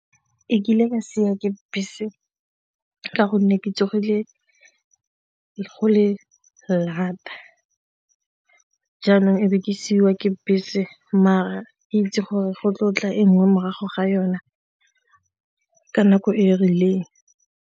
E kile ka siiwa ke bese ka gonne ke tsogile lata jaanong e be ke siiwa ke bese mare ke itse gore go tlotla e nngwe morago ga yona ka nako e e rileng.